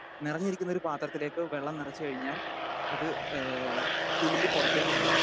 Speaker 2 നിറഞ്ഞിരിക്കുന്നൊരു പാത്രത്തിലേക്ക് വെള്ളം നിറച്ചു കഴിഞ്ഞാൽ അത് ഏഹ് തുളുമ്പി പുറത്തേക്ക് പോകും.